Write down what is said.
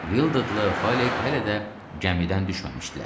Vildadlı Fəlik hələ də gəmidən düşməmişdilər.